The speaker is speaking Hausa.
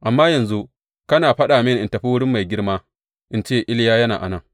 Amma yanzu kana faɗa mini in tafi wurin mai girma in ce, Iliya yana a nan.’